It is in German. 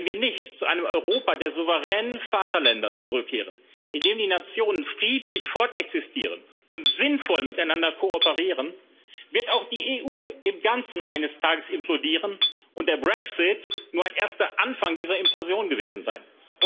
Wenn wir nicht zu einem Europa der souveränen Vaterländer zurückkehren, in dem Nationen friedlich fortexistieren und sinnvoll miteinander kooperieren, wird auch die EU im Ganzen eines Tages implodieren und der Brexit nur ein erster Anfang dieser Implosion gewesen sein.